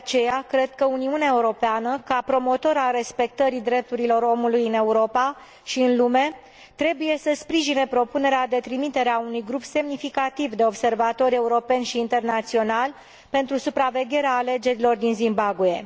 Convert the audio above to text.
de aceea, cred că Uniunea Europeană, ca promotor al respectării drepturilor omului în Europa și în lume, trebuie să sprijine propunerea de trimitere a unui grup semnificativ de observatori europeni și internaționali pentru supravegherea alegerilor din Zimbabwe.